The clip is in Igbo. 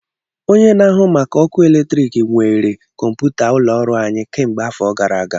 Onye na-ahụ maka ọkụ eletrik nwèrè kọmpụta ụlọ ọrụ anyị kemgbe afọ gara aga